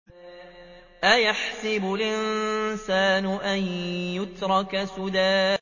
أَيَحْسَبُ الْإِنسَانُ أَن يُتْرَكَ سُدًى